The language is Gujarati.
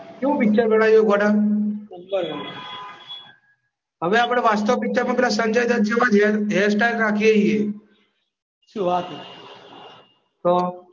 કેવું પિક્ચર બનાવ્યું ગોડા? જબ્બર બનાયું હવે આપણે વાસ્તવ પિક્ચરમાં પેલા સંજયદત જેવા હેર સ્ટાઈલ રાખીએ છીએ શું વાત છ